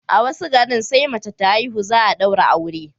a wasu garin sai mace ta haihu, za a daura aure